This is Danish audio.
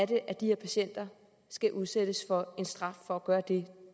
det er at de her patienter skal udsættes for en straf for at gøre det